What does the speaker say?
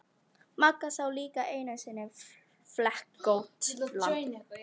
Magga sá líka einu sinni flekkótt lamb.